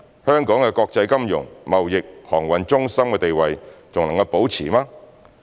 香港的國際金融、貿易、航運中心地位還能保持嗎？